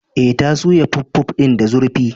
E, ta soya puffpuff din da zurfi?